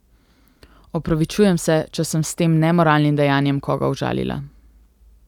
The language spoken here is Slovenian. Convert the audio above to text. Opravičujem se, če sem s tem nemoralnim dejanjem koga užalila.